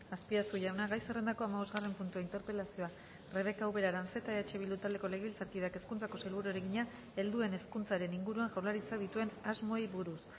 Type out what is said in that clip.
azpiazu jauna gai zerrendako hamabosgarren puntua interpelazioa rebeka ubera aranzeta eh bildu taldeko legebiltzarkideak hezkuntzako sailburuari egina helduen hezkuntzaren inguruan jaurlaritzak dituen asmoei buruz